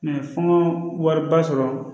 fɔ wariba sɔrɔ